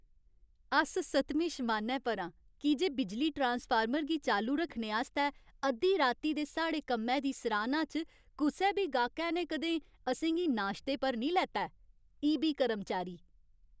अस सतमें शमानै पर आं की जे बिजली ट्रांसफार्मर गी चालू रक्खने आस्तै अद्धी राती दे साढ़े कम्मै दी सराह्‌ना च कुसै बी गाह्कै ने कदें असें गी नाश्ते पर निं लेता ऐ। ई.बी. कर्मचारी